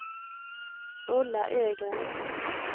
Ulla Ögren